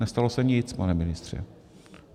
Nestalo se nic, pane ministře.